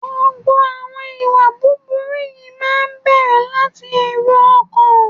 Gbogbo àwọn ìwà búburú yìí máa ń bẹ̀rẹ̀ láti èrò ọkàn.